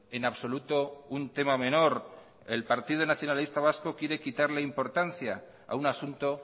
en absoluto un tema menor el partido nacionalista vasco quiere quitarle importancia a un asunto